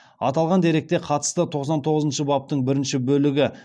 аталған дерекке қатысты тоқсан тоғызыншы баптың бірінші бөлігі